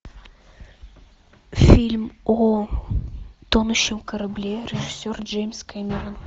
фильм о тонущем корабле режиссер джеймс кэмерон